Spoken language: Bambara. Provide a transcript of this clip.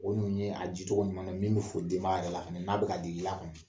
O ninnu ye a dicogo ɲuman n'a bɛ fo denaba yɛrɛ la n'a bɛ ka digi i la kɔni